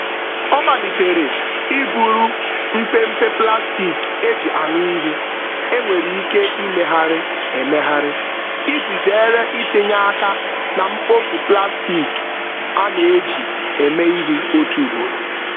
Ọ malitere iburu mpempe plastik e ji aṅụ ihe e nwere ike imegharị emegharị iji zeere itinye aka na mkpofu plastik a na-eji eme ihe otu ugboro